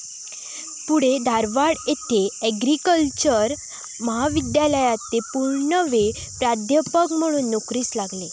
पुढे धारवाड येथे आग्रिकल्चरल महाविद्यालयात ते पूर्णवेळ प्राध्यापक म्हणून नोकरीस लागले.